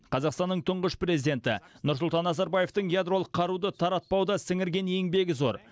қазақстанның тұңғыш президенті нұрсұлтан назарбаевтың ядролық қаруды таратпауда сіңірген еңбегі зор